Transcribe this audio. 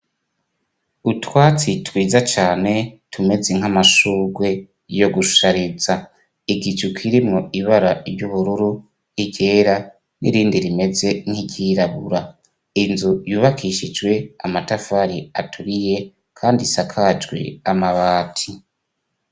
Utwatsi twiza cane tumeze nk'amashurwe yo gushariza, igicu kirimwo ibara ry'ubururu, iryera n'irindi rimeze nk'iryirabura, inzu yubakishijwe amatafari aturiye kandi isakajwe amabati.